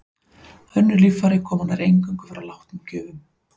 Önnur líffæri koma nær eingöngu frá látnum gjöfum.